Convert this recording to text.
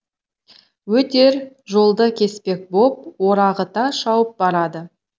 өтер жолды кеспек боп орағыта шауып барады